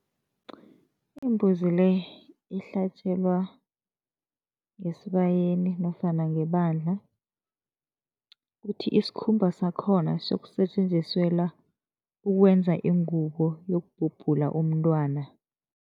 Imbuzi le ihlatjelwa ngesibayeni nofana ngebandla, kuthi isikhumba sakhona siyokusetjenziselwa ukwenza ingubo yokubhobhula umntwana.